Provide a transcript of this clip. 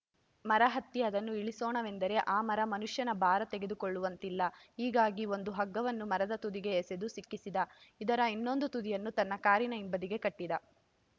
ಮರ ಹತ್ತಿ ಅದನ್ನು ಇಳಿಸೋಣವೆಂದರೆ ಆ ಮರ ಮನುಷ್ಯನ ಭಾರ ತಡೆದುಕೊಳ್ಳುವಂತಿಲ್ಲ ಹೀಗಾಗಿ ಒಂದು ಹಗ್ಗವನ್ನು ಮರದ ತುದಿಗೆ ಎಸೆದು ಸಿಕ್ಕಿಸಿದಇದರ ಇನ್ನೊಂದು ತುದಿಯನ್ನು ತನ್ನ ಕಾರಿನ ಹಿಂಬದಿಗೆ ಕಟ್ಟಿದ